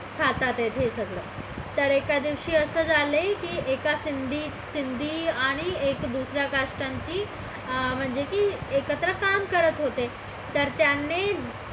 हातात हे सगळं तर एका दिवशी असं झालंय की एका सिंधी आणि एका दुसऱ्या cast चा माणूस म्हणजे की एकत्र काम करत होते तर त्याने